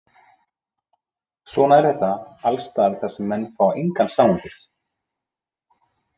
Svona er þetta alls staðar þar sem menn fá engan samanburð.